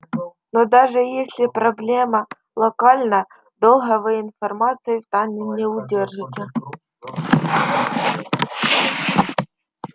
но даже если проблема локальна долго вы информацию в тайне не удержите